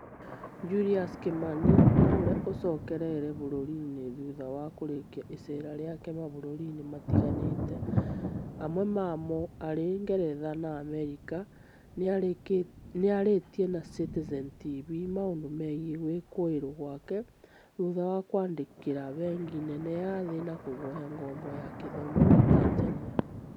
Julius Kimani naũrĩa ũcokereirie bũrũri-inĩ thutha wa kurĩkia icera rĩake mabũrũri-inĩ matiganĩte, mamwe mamo arĩ Ngeretha na Amerika, nĩarĩtie na Citizen TV maũndũ megiĩ gwĩkũĩrwo gwake, thutha wa kwandĩkĩra bengi nene ya thĩ na kũhoya ngombo ya gĩthomo gwĩ Tanzania